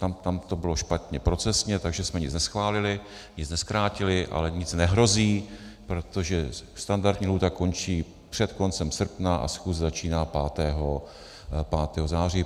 Tam to bylo špatně procesně, takže jsme nic neschválili, nic nezkrátili, ale nic nehrozí, protože standardní lhůta končí před koncem srpna a schůze začíná 5. září.